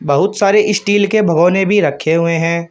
बहुत सारे स्टील के भिगोने भी रखे हुए हैं।